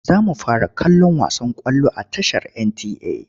Za mu fara kallon wasan ƙwallo a tashar NTA.